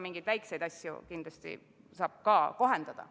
Mingeid väikseid asju saab kindlasti ka kohendada.